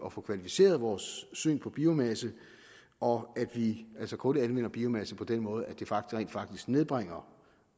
at få kvalificeret vores syn på biomasse og at vi altså kun anvender biomasse på den måde at det rent faktisk nedbringer